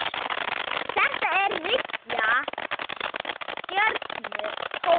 Þetta er þriggja stjörnu hótel.